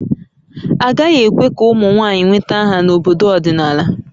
Agaghị ekwe ka ụmụ nwanyị nweta aha n'obodo ọdịnala